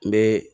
N bɛ